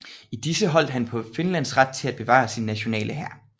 I disse holdt han på Finlands ret til at bevare sin nationale hær